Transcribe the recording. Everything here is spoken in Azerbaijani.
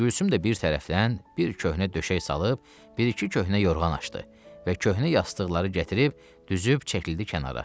Gülsüm də bir tərəfdən bir köhnə döşək salıb, bir-iki köhnə yorğan açdı və köhnə yastıqları gətirib, düzüb çəkildi kənara.